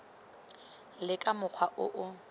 le ka mokgwa o o